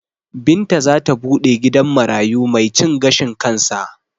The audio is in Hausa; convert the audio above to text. Binta zata buɗe gidan marayu mai cin gashin kansa